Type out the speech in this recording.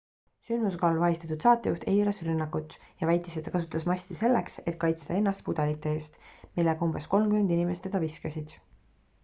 sündmuskohal vahistatud saatejuht eitas rünnakut ja väitis et ta kasutas masti selleks et kaitsta ennast pudelite eest millega umbes kolmkümmend inimest teda viskasid